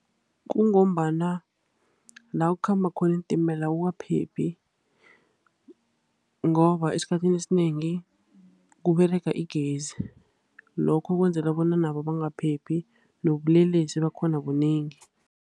Kungombana la kukhamba khona iintimela akukaphephi, ngoba esikhathini esinengi kuberega igezi. Lokho kwenzela bona nabo bangaphephi, nobulelesi bakhona bunengi.